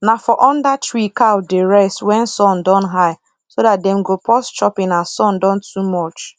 na for under tree cow dey rest wen sun don high so dat dem go pause chopping as sun don too much